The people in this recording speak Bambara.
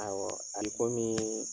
Awɔ a bɛ komi